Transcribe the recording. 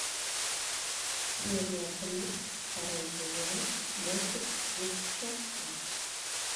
серия три второй сезон мультик девчонки